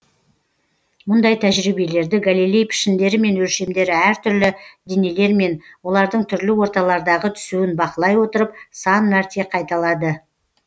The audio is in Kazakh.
мұндай тәжірибелерді галилей пішіндері мен өлшемдері әртүрлі денелермен олардың түрлі орталардағы түсуін бақылай отырып сан мәрте қайталады